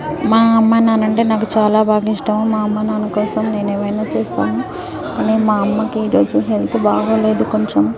మా అమ్మ నాన్న అంటే నాకు చాలా బాగా ఇష్టం మా అమ్మ నాన్న కోసం నేను ఏమైనా చేస్తాను కానీ మా అమ్మ కి ఇరోజు హెల్త్ బాగోలేదు కొంచం --.